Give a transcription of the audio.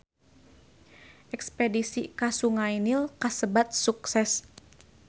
Espedisi ka Sungai Nil kasebat sukses